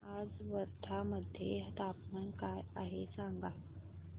आज वर्धा मध्ये तापमान काय आहे सांगा